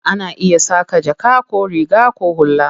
Ana iya saƙa jaka ko riga ko hula.